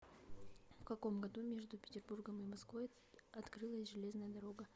в каком году между петербургом и москвой открылась железная дорога